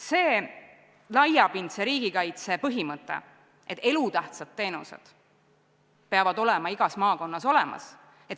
Jah, laiapindse riigikaitse põhimõte on, et elutähtsad teenused peavad olema igas maakonnas olemas.